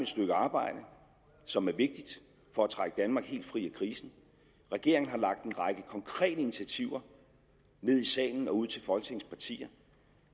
stykke arbejde som er vigtigt for at trække danmark helt fri af krisen regeringen har lagt en række konkrete initiativer ned i salen og ud til folketingets partier